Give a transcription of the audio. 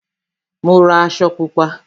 Mo ra aṣọ Pupa